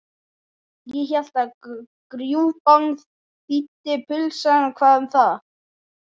Ég hélt að grjúpán þýddi pulsa en hvað um það?